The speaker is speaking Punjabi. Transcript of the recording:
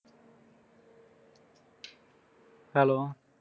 hello